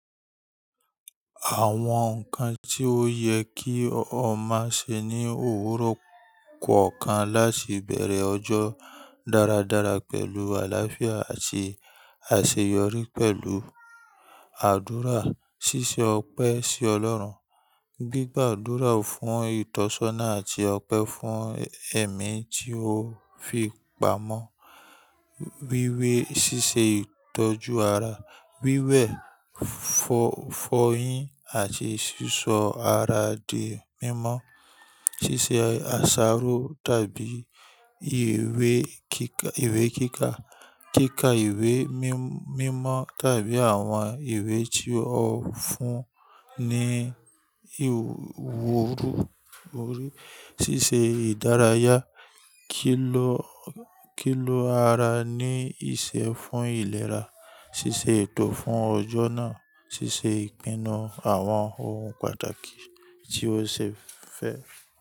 Àwọn nǹkan tí ó yẹ kí o má ṣe ní òwúrọ̀ kọ̀ọ̀kan láti bẹ̀rẹ̀ ọjọ́ dáradára pẹ̀lú àlàáfíà àti àṣeyọrí pẹ̀lú àdúrà, ṣíṣe ọpẹ́ sí Ọlọ́run, gbígba àdúrà fún ìtọ́sọ́nà àti ọpẹ́ fún ẹ̀mí tí ó fi pamọ́, wíwé ṣíṣe ìtọ́jú ara, wíwẹ̀, fọ́yín àti sísọ ara di mímọ́, ṣíṣe àsáró tàbí ìwé kíka, kíkà ìwé mímọ́ tàbí àwọn ìwé tí ó fún ni ìwúrí, ṣíṣe ìdárayá, kì ló ara ní iṣẹ́ fún ìlera, ṣíṣe ètò fún ọjọ́ náà, ṣíṣe ìpinnu àwọn ohun pàtàkì tí o ṣe fẹ́